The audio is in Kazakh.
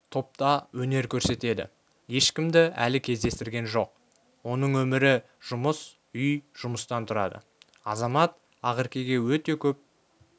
топта өнер көрсетеді ешкімді әлі кездестірген жоқ оның өмірі жұмыс-үй-жұмыстан тұрады азамат ақеркеге өте көп